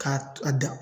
K'a a dan